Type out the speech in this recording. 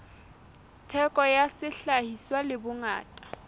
theko ya sehlahiswa le bongata